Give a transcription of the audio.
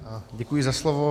Děkuji za slovo.